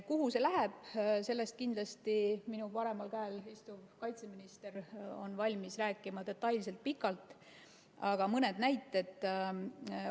Kuhu see läheb, sellest kindlasti on minu paremal käel istuv kaitseminister valmis rääkima detailselt ja pikalt, aga ma toon mõne näite.